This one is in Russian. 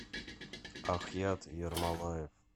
ахьят ермолаев